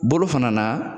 Bolo fana na